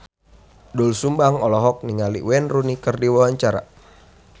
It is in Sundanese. Doel Sumbang olohok ningali Wayne Rooney keur diwawancara